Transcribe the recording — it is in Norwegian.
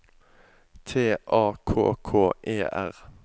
T A K K E R